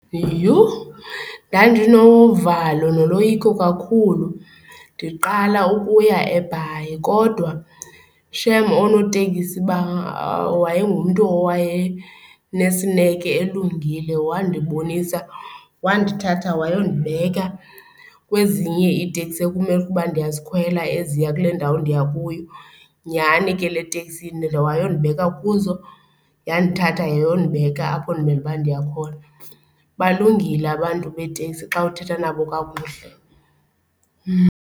Yhu, ndandinovalo noloyiko kakhulu ndiqala ukuya eBhayi kodwa shem oonotekisi wayengumntu owayenesineke elungile. Wandibonisa, wandithatha wayondibeka kwezinye iiteksi ekumele ukuba ndiyazikhwela eziya kule ndawo ndiya kuyo. Nyhani ke le teksi wayondibeka kuzo, yandithatha yayondibeka apho ndimele uba ndiya khona. Balungile abantu beeteksi xa uthetha nabo kakuhle.